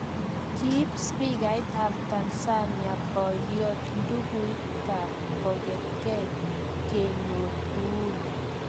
Ki spikait ab tanzania boiyot Ndugait kongetegey kenyor uhuru